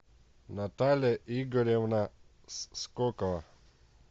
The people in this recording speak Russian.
наталья игоревна скокова